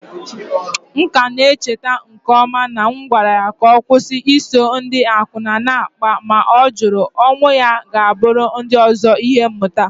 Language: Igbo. M ka na-echeta nke ọma na m gwara ya ka ọ kwụsị iso ndị akwụna na-akpa, ma ọ jụrụ. Onwụ ya ga-abụrụ ndị ọzọ ihe mmụta.